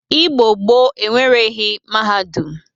Igbo gboo enwereghi mahadum